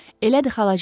Elədir xalacan.